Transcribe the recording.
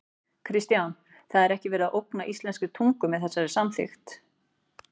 Kristján: Það er ekki verið að ógna íslenskri tungu með þessari samþykkt?